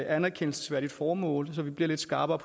anerkendelsesværdigt formål så det bliver lidt skarpere